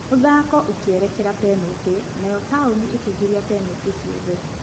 Mũthako ũkĩerekera benatĩ, nayo Taũni ĩkĩingĩria benatĩ ciothe.